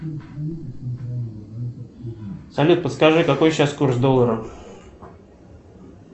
салют подскажи какой сейчас курс доллара